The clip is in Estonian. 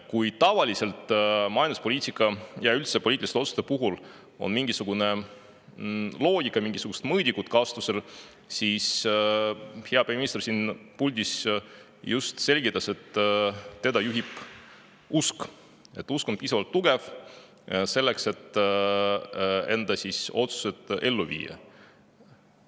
Kui tavaliselt majanduspoliitika ja üldse poliitiliste otsuste puhul on mingisugune loogika, kasutusel on mingisugused mõõdikud, siis hea peaminister siin puldis just selgitas, et teda juhib usk ja tema usk on piisavalt tugev selleks, et enda otsused ellu viia.